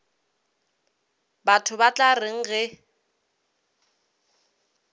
batho ba tla reng ge